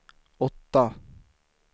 åtta